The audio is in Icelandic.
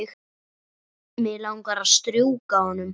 Mig langar að strjúka honum.